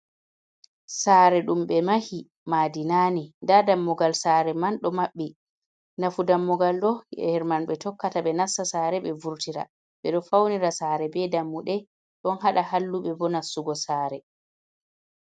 Saare ɗum be mahi, madi nan nii nda dammugal saare man ɗo maɓɓi, nafu dammugal ɗo her man ɓe tokkata ɓe narsa saare ɓe bee vurtira ɓe ɗo fawnira saare bee dammuɗe, ɗon haɗa halluve bo nastugo saare.